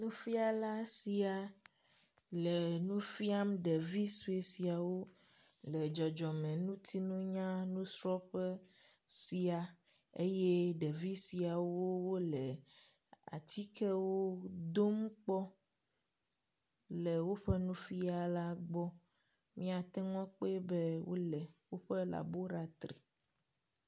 Nufiala sia le nu fiam ɖevi sue siawo le dzɔdzɔmeŋutinunya nusrɔ̃ƒe sia eye ɖevi siawo wole atikewo dom kpɔm le woƒe nufila gbɔ. Míate ŋu akpɔe be wole woƒe labolatri.